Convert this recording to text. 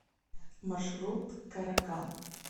маршрут каракан